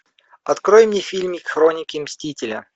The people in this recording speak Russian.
открой мне фильмик хроники мстителя